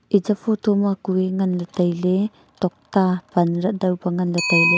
echa photo ma kui ngan taile tokta pan jah ngan taile.